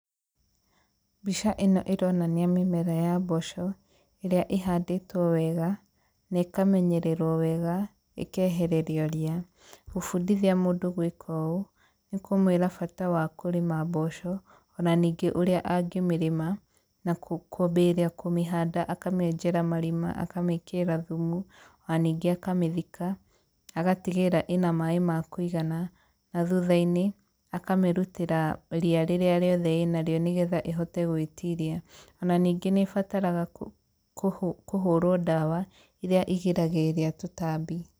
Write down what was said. Mbica ĩno ĩronania mĩmera ya mboco ĩrĩa ĩhandĩtwo wega na ĩkamenyererwo wega, ĩkehererio ria. Gũbundithia mũndũ gwĩka ũũ, nĩ kũmwĩra bata wa kũĩma mboco ona ningĩ ũrĩa angĩmĩrĩma na kwambĩrĩria kũmĩhanda akamĩenjera marima akamĩkĩrĩra thumu ona ningĩ akamĩthika agatigĩrĩra ĩna maĩ ma kũigana, na thutha-inĩ akamĩrutĩra ria rĩrĩa rĩothe ĩnarĩo nĩ getha ĩhote gwĩtiria , ona ningĩ nĩ ĩbataraga kũhũrwo ndawa ĩria irigagĩrĩria tũtambi.